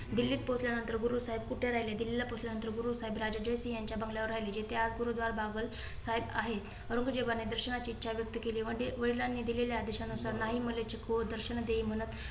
दिल्लीत पोहचल्या नंतर गुरु साहेब कुठे राहिले. दिल्लीला पोहचल्या नंतर गुरु साहेब राजा जयसिंग यांच्या बंगल्या वर राहिले. जेथे आज गुरुद्वार् बागल साहेब आहे. औरंगजेबाने दर्शनाची इच्छा व्यक्त केली. म्हणजे वडिलांनी दिलेल्या आदेशानुसार नाही मलेची खो दर्शन देई म्हणत.